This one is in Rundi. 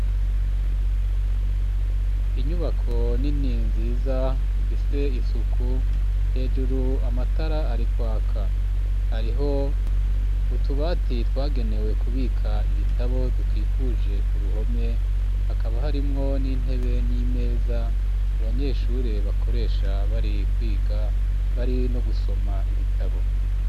Inyubako nini nziza ifise isuku hejuru amatara ari kwaka hariho utubati twagenewe kubika ibitabo tukikuje ku ruhome hakaba harimwo n'intebe n'imeza abanyeshure bakoresha bari kwiga bari no gusoma ibitabo.